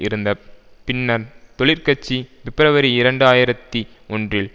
இருந்த பின்னர் தொழிற்கட்சி பிப்ரவரி இரண்டு ஆயிரத்தி ஒன்றில்